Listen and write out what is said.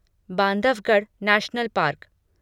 Bandhavgarh national park